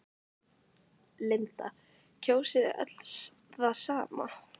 Linda: Kjósið þið öll það sama?